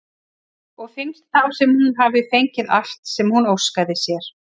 Og finnst þá sem hún hafi fengið allt sem hún óskaði sér.